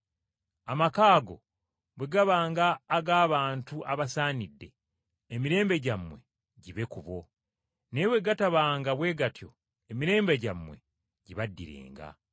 Amaka ago bwe gabanga ag’abantu abasaanidde, emirembe gyammwe ginaabeeranga ku bo, naye bwe gatabanga bwe gatyo emirembe gyammwe ginaabaddiranga.